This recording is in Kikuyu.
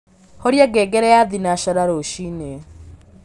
horĩa ngengere ya thĩnacara rũcĩĩnĩ